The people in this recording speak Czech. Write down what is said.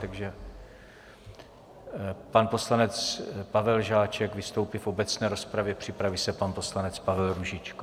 Takže pan poslanec Pavel Žáček vystoupí v obecné rozpravě, připraví se pan poslanec Pavel Růžička.